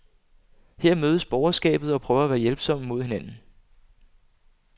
Her mødes borgerskabet og prøver at være hjælpsomme mod hinanden.